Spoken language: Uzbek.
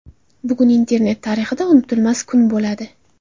Bugun internet tarixida unutilmas kun bo‘ladi.